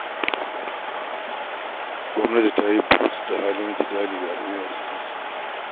Gwamnati ta yi burus da halin jidali da al'umma suke ciki